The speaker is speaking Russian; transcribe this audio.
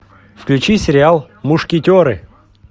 включи сериал мушкетеры